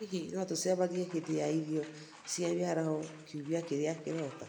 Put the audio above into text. Hihi no tũcemanie hĩndĩ ya irio cia mĩaraho kiumia kĩrĩa kĩroka?